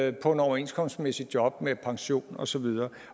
et overenskomstmæssigt job med pension og så videre